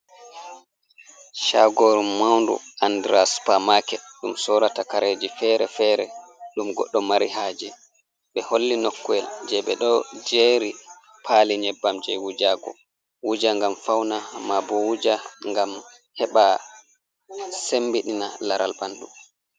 Chagoru maundu andra supamaket, ɗum sorata kareji fere-fere ɗum goɗɗo mari haje, ɓe holli nokwel je ɓe ɗo jeri pali nyebbam je wujago, wuja ngam fauna, mabo wuja ngam heɓa sembiɗina laral ɓanɗu.